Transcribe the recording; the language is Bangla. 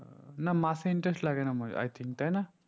না মাসে interest না মানে I think তাই না